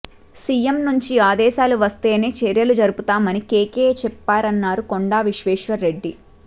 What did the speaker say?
CM నుంచి ఆదేశాలు వస్తేనే చర్చలు జరుపుతామని కేకే చెప్పారన్నారు కొండా విశ్వేశ్వర్ రెడ్డి